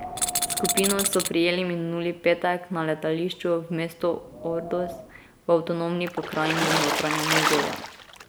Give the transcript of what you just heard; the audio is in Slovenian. Skupino so prijeli minuli petek na letališču v mestu Ordos v avtonomni pokrajini Notranja Mongolija.